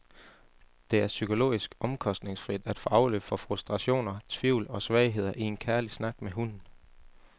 Det er psykologisk omkostningsfrit at få afløb for frustrationer, tvivl og svagheder i en kærlig snak med hunden.